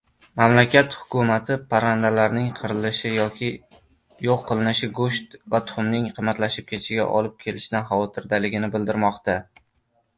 Mamlakat hukumati parrandalarning qirilishi yoki yo‘q qilinishi go‘sht va tuxumning qimmatlashib ketishiga olib kelishidan xavotirdaligini bildirmoqda.